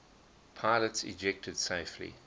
pilots ejected safely